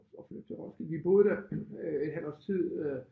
At flytte til Roskilde vi boede der øh et halvt års tid øh